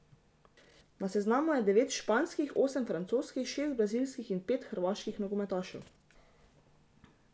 Na seznamu je devet španskih, osem francoskih, šest brazilskih in pet hrvaških nogometašev.